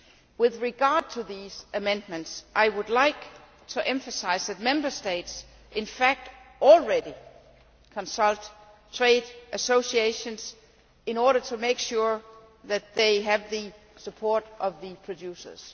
With regard to those amendments, I would emphasise that Member States do, in fact, already consult trade associations in order to make sure that they have the support of producers.